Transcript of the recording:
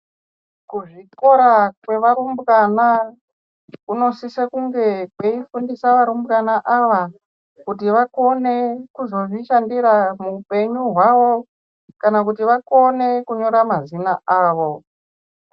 Kuzvikora kwevarumbwana kunosise kunge kweifundisa varumbana ava kuti vakone kuzozvishandira muupenyu hwavo. Kana kuti vakone kunyora mazina avo.